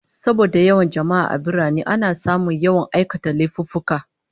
Saboda yawan jama'a a birane, ana samun yawan aikata laifuffuka